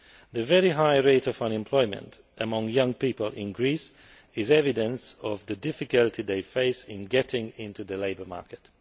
The very high rate of unemployment among young people in Greece is evidence of the difficulty they face in getting into the labour market.